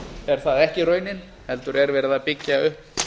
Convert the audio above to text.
er það ekki raunin heldur er verið að byggja upp